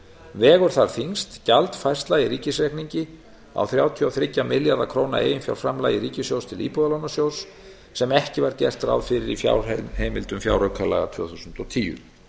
vegur þar þyngst gjaldfærsla í ríkisreikningi á þrjátíu og þrjá milljarða króna eiginfjárframlagi ríkissjóðs til íbúðalánasjóðs sem ekki var gert ráð fyrir í fjárheimildum fjáraukalaga tvö þúsund og tíu